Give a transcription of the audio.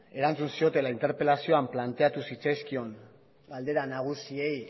erantzun ziotela interpelazioan planteatu zitzaizkion galdera nagusiei